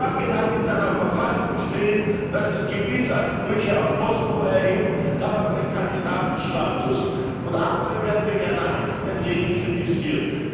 Serbien hat in seiner Verfassung stehen, dass es Gebietsansprüche auf das Kosovo erhebt, hat aber den Kandidatenstatus, und andere werden wegen einer einzigen Rede kritisiert.